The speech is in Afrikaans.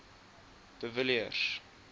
de villiers